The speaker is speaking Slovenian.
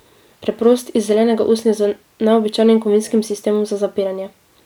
Preprost, iz zelenega usnja, z neobičajnim kovinskim sistemom za zapiranje.